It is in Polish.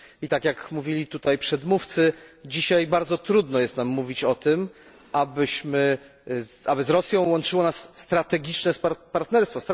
I tak jak mówili tutaj przedmówcy, dzisiaj bardzo trudno jest nam mówić o tym, aby z Rosją łączyło nas strategiczne partnerstwo.